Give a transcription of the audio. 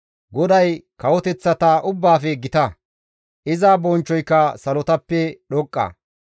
GODAY kawoteththata ubbaafe gita; iza bonchchoyka salotappe dhoqqa.